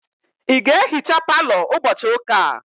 Ị ga-ehicha palọ ụbọchị ụka a?